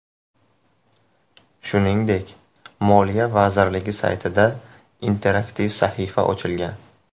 Shuningdek, Moliya vazirligi saytida interaktiv sahifa ochilgan.